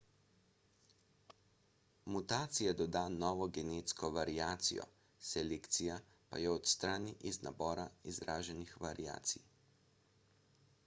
mutacija doda novo genetsko variacijo selekcija pa jo odstrani iz nabora izraženih variacij